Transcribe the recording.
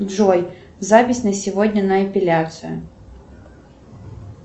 джой запись на сегодня на эпиляцию